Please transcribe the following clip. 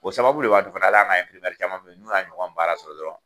O sababule b'a to fana hali an ga caman be yen n'u y'a ɲɔgɔn baara sɔrɔ dɔrɔn